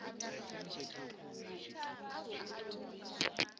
vhu tshi khou wela kha